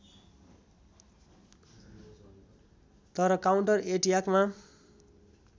तर काउन्टर एट्याकमा